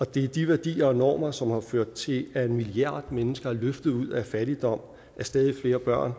det er de værdier og normer som har ført til at en milliard mennesker er løftet ud af fattigdom at stadig flere børn